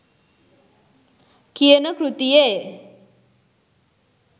කියන කෘතියේ